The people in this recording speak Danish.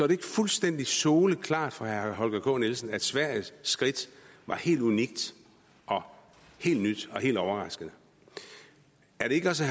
ikke fuldstændig soleklart for herre holger k nielsen at sveriges skridt var helt unikt og helt nyt og helt overraskende er det ikke også